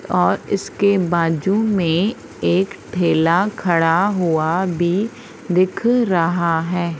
और इसके बाजू में एक ठेला खड़ा हुआ भी दिख रहा है।